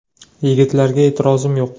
Yigitlarga e’tirozim yo‘q.